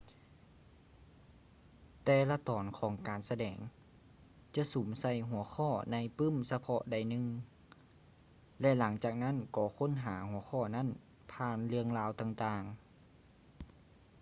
ແຕ່ລະຕອນຂອງການສະແດງຈະສຸມໃສ່ຫົວຂໍ້ໃນປື້ມສະເພາະໃດໜຶ່ງ ແລະ ຫຼັງຈາກນັ້ນກໍຄົ້ນຫາຫົວຂໍ້ນັ້ນຜ່ານເລື່ອງລາວຕ່າງໆ